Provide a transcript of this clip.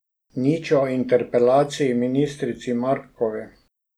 Nič o interpelaciji ministrici Mrakovi?